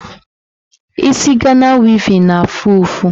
Isi Gana wevin na-afụ ụfụ.